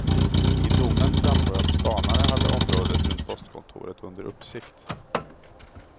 I domen framgår att spanare hade området runt postkontoret under uppsikt.